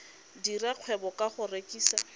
dira kgwebo ka go rekisa